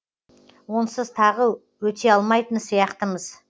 онсыз тағы өте алмайтын сияқтымыз